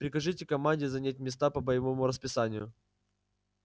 прикажите команде занять места по боевому расписанию